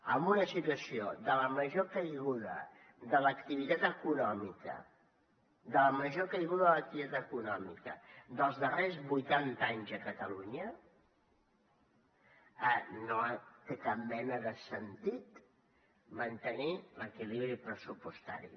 amb una situació de la major caiguda de l’activitat econòmica de la major caiguda de l’activitat econòmica dels darrers vuitanta anys a catalunya no té cap mena de sentit mantenir l’equilibri pressupostari